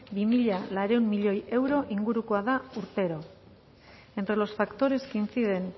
bi mila laurehun milioi euro ingurukoa da urtero entre los factores que inciden